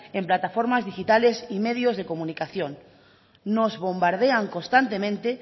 en plataformas digitales y medios de comunicación nos bombardean constantemente